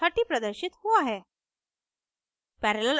30 प्रदर्शित हुआ है